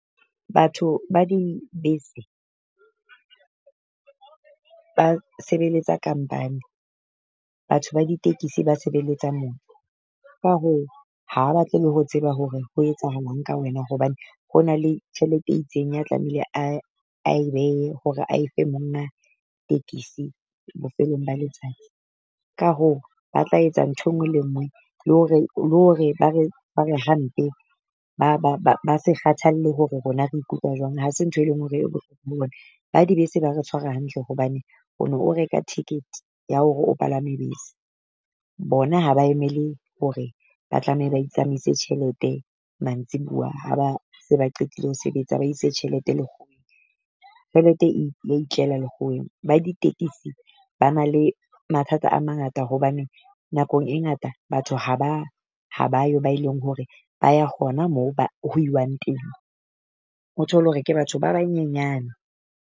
Batho ba dibese ba sebeletsa company, batho ba ditekesi ba sebeletsa motho. Ka hoo ha ba batle le ho tseba hore ho etsahalang ka wena hobane ho na le tjhelete e itseng ya tlamehile a e ae behe hore a efe monga tekesi bofelong ba letsatsi. Ka hoo ba tla etsa ntho e nngwe le e nngwe le hore le hore ba re ba re hampe. Ba se kgathalle hore rona re ikutlwa jwang ha se ntho e leng hore e ho bona. Ba dibese ba re tshwara hantle hobane o no o reka ticket ya hore o palame bese. Bona ha ba emele hore ba tlameha ba itsamaise tjhelete mantsibua ha ba se ba qetile ho sebetsa ba ise tjhelete tjhelete e ya itlela lekgoweng. Ba ditekisi ba na le mathata a mangata hobane nakong e ngata batho ha ba ha ba ba yo ba e leng hore ba ya hona moo ba ho iwang teng. O thole hore ke batho ba banyenyane.